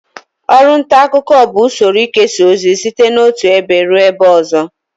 Ọru nta akuko bu usoro ikesa ozi site n'otu ebe rue ebe ozo